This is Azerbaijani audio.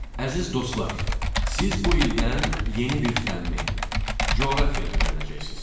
Əziz dostlar, siz bu ildən yeni bir fənni, coğrafiyanı öyrənəcəksiniz.